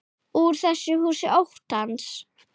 Úr þessu húsi óttans.